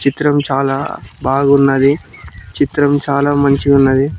చిత్రం చాలా బాగున్నది చిత్రం చాలా మంచిగున్నది.